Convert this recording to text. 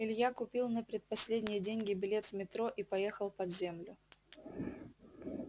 илья купил на предпоследние деньги билет в метро и поехал под землю